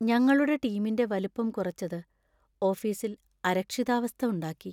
ഞങ്ങളുടെ ടീമിന്‍റെ വലിപ്പം കുറച്ചത് ഓഫീസിൽ അരക്ഷിതാവസ്ഥ ഉണ്ടാക്കി .